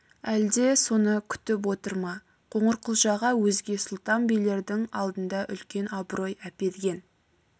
әлде соны күтіп отыр ма қоңырқұлжаға өзге сұлтан билердің алдында үлкен абырой әперген